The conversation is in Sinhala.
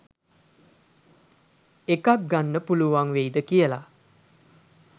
එකක් ගන්න පුලුවන් වෙයිද කියලා?